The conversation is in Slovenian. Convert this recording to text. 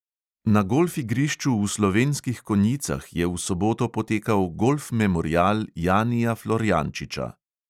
Na golf igrišču v slovenskih konjicah je v soboto potekal golf memorial janija florjančiča.